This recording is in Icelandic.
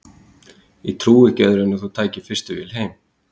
Ég trúði ekki öðru en að þú tækir fyrstu vél heim.